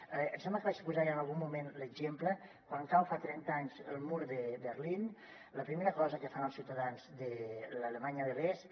em sembla que vaig posar ja en algun moment l’exemple quan cau fa trenta anys el mur de berlín la primera cosa que fan els ciutadans de l’alemanya de l’est